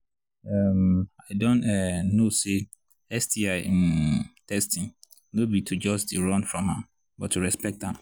um i don um know say sti um testing no be to just they run from am but to respect am